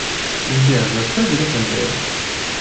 сбер за что берут ндс